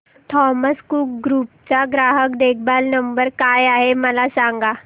Thomas Cook group चा ग्राहक देखभाल नंबर काय आहे मला सांगा